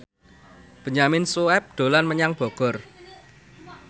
Benyamin Sueb dolan menyang Bogor